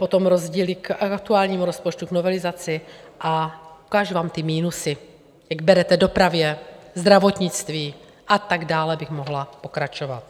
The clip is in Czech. Potom rozdíly k aktuálnímu rozpočtu k novelizaci a ukážu vám ty minusy, jak berete dopravě, zdravotnictví, a tak dále bych mohla pokračovat.